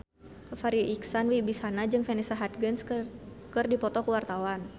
Farri Icksan Wibisana jeung Vanessa Hudgens keur dipoto ku wartawan